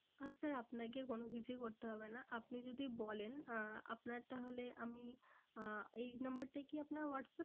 আহ sir আপনাকে কোনো কিছুই করতে হবে না। আপনি যদি বলেন আহ আপনার তাহলে আমি আহ এই number টাই কি আপনার whatsapp